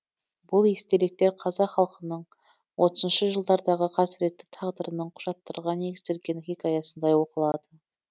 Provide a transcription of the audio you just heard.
бұл естеліктер қазақ халқының отызыншы жылдардағы қасіретті тағдырының құжаттарға негізделген хикаясындай оқылады